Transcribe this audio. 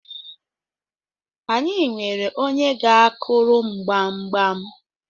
anyị nwere onye ga-akuru m gbamgbam